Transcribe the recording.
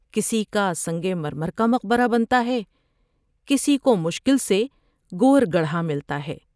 کسی کا سنگ مرمر کا مقبرہ بنتا ہے ، کسی کومشکل سے گور گڑ ھا ملتا ہے ۔